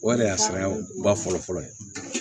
O yɛrɛ de y'a saya ba fɔlɔ fɔlɔ ye